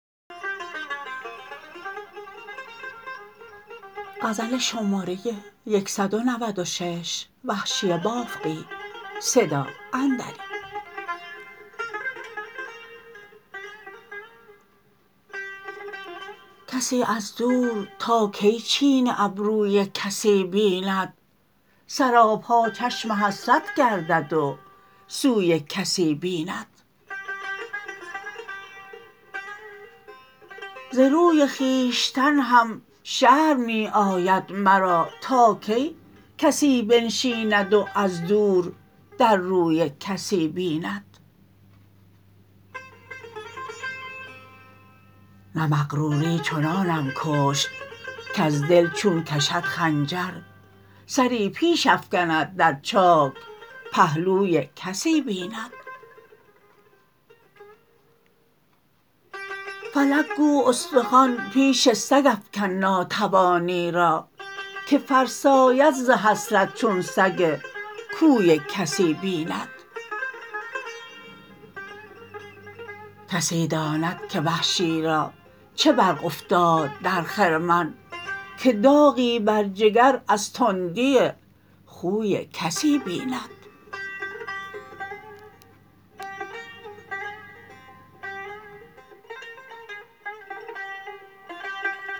کسی از دور تا کی چین ابروی کسی بیند سراپا چشم حسرت گردد و سوی کسی بیند ز روی خویشتن هم شرم می آید مرا تا کی کسی بنشیند و از دور در روی کسی بیند نه مغروری چنانم کشت کز دل چون کشد خنجر سری پیش افکند در چاک پهلوی کسی بیند فلک گو استخوان پیش سگ افکن ناتوانی را که فرساید ز حسرت چون سگ کوی کسی بیند کسی داند که وحشی را چه برق افتاد در خرمن که داغی بر جگر از تندی خوی کسی بیند